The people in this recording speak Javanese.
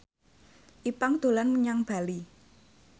Ipank dolan menyang Bali